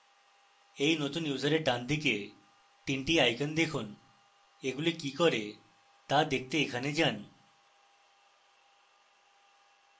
এই নতুন ইউসারের ডানদিকে 3 the icons দেখুন এগুলি কি করে তা দেখতে এতে যান